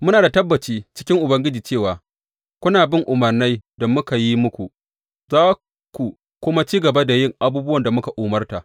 Muna da tabbaci cikin Ubangiji cewa kuna bin umarnai da muka yi muku, za ku kuma ci gaba da yin abubuwan da muka umarta.